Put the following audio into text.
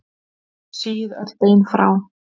Síið öll bein frá.